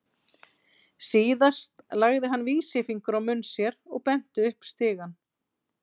Síðan lagði hann vísifingur á munn sér og benti upp stigann.